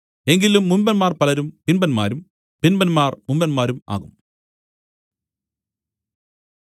എങ്കിലും മുമ്പന്മാർ പലരും പിമ്പന്മാരും പിമ്പന്മാർ മുമ്പന്മാരും ആകും